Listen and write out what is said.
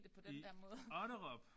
I Otterup!